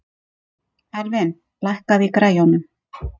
Elvin, lækkaðu í græjunum.